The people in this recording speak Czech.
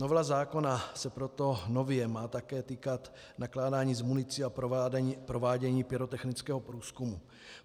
Novela zákona se proto nově má také týkat nakládání s municí a provádění pyrotechnického průzkumu.